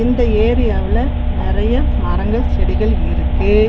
இந்த ஏரியாவுல நெறைய மரங்கள் செடிகள் இருக்கு.